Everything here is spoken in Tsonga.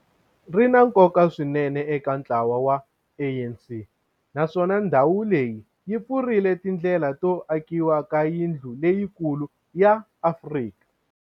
ri na nkoka swinene eka ntlawa wa ANC, naswona ndhawu leyi yi pfurile tindlela to akiwa ka yindlu leyikulu ya Afrika